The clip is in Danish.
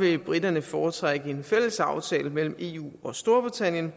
vil briterne foretrække en fælles aftale mellem eu og storbritannien